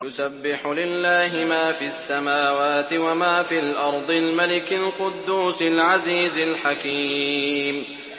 يُسَبِّحُ لِلَّهِ مَا فِي السَّمَاوَاتِ وَمَا فِي الْأَرْضِ الْمَلِكِ الْقُدُّوسِ الْعَزِيزِ الْحَكِيمِ